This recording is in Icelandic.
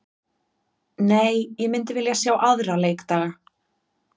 Nei, ég myndi vilja sjá aðra leikdaga.